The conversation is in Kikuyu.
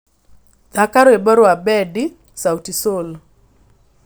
thaaka rwĩmbo rwa bendi sauti sol